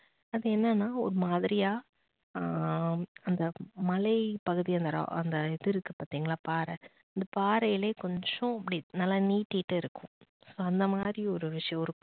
அது என்னன்னா ஒரு மாதிரியா ஆஹ் அந்த மலைப்பகுதி அந்த இது இருக்கு பாத்தீங்களா பாறை பாறையிலே கொஞ்சம் இப்படி நல்லா நீட்டிட்டு இருக்கும் so அந்த மாதிரி ஒரு விஷயம் இருக்கும்.